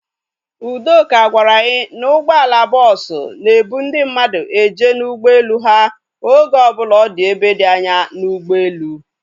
Udoka gwara anyi na ụgbọala bọọsu na-ebu ndị mmadụ eje n'ụgbọelu ha oge ọbụla ọ dị ebe dị anya n'ugboelu